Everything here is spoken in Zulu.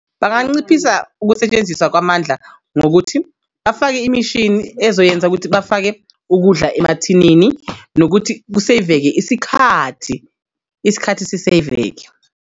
Banganciphisa ukusetshenziswa kwamandla ngokuthi bafake imishini ezoyenza ukuthi bafake ukudla emathinini nokuthi kuseyveke isikhathi isikhathi siseyveke.